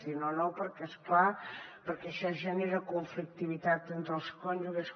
dir no no perquè és clar això genera conflictivitat entre els cònjuges